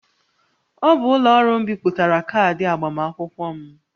Ọ bụ ụlọ ọrụ m bipụtara kaadị agbamakwụkwọ m